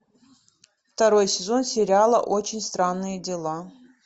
второй сезон сериала очень странные дела